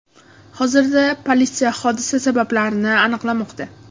Hozirda politsiya hodisa sabablarini aniqlamoqda.